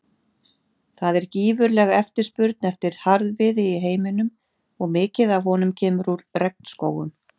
Það er gífurleg eftirspurn eftir harðviði í heiminum og mikið af honum kemur úr regnskógum.